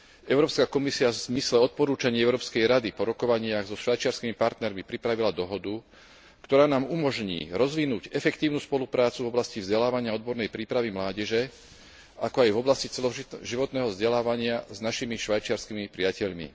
Európska komisia v zmysle odporúčaní Európskej rady po rokovaniach so švajčiarskymi partnermi pripravila dohodu, ktorá nám umožní rozvinúť efektívnu spoluprácu v oblasti vzdelávania a odbornej prípravy mládeže, ako aj v oblasti celoživotného vzdelávania s našimi švajčiarskymi priateľmi.